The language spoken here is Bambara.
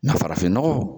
Na farafin nɔgɔ